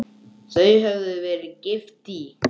Þau höfðu verið gift í